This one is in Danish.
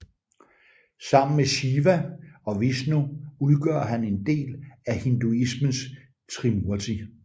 Sammen med Shiva og Vishnu udgør han en del af hinduismens Trimurti